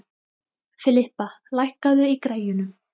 Filippa, lækkaðu í græjunum.